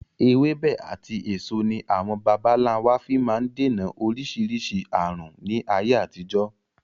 Ewébẹ̀ àti èso ní àwọn bàbà ńlá wa fi máa ń dènà oríṣiríṣi aàrùn ni ayé àtijọ́.